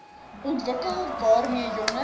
ontwikkel waarmee jonger